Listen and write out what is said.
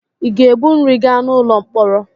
Ị ga-ebu nri gaa n'ụlọ mkpọrọ.